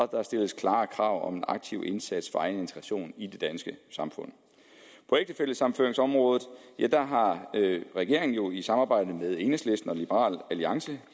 der stilles klare krav om en aktiv indsats for egen integration i det danske samfund på ægtefællesammenføringsområdet har regeringen jo i samarbejde med enhedslisten og liberal alliance